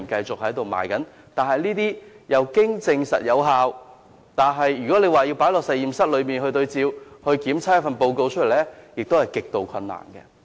這些處方經證實有效，但若要在實驗室內進行對照，得出檢測報告，是極度困難的。